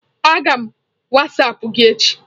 Aga m wasapụ gi echi.